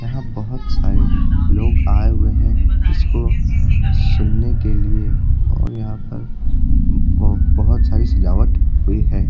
यहाँ बहुत सारे लोग आए हुए हैं इसको सुनने के लिए और यहां पर ब बहुत सारी सजावट भी है।